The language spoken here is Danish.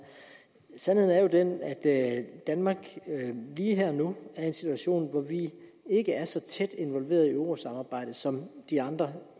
sandheden er jo den at danmark lige her og nu er i en situation hvor vi ikke er så tæt involveret i eurosamarbejdet som de andre